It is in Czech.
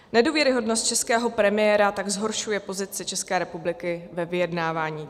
Nedůvěryhodnost českého premiéra tak zhoršuje pozici České republiky ve vyjednávání.